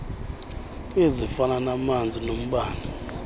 ezifana namanzi nombane